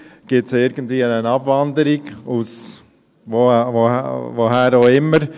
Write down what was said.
Gibt es irgendeine Abwanderung, woher auch immer?